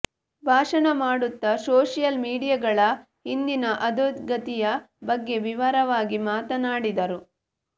ಭಾಷಣ ಮಾಡುತ್ತ ಸೋಶಿಯಲ್ ಮೀಡಿಯಾಗಳ ಇಂದಿನ ಅಧೋಗತಿಯ ಬಗ್ಗೆ ವಿವರವಾಗಿ ಮಾತನಾಡಿದರು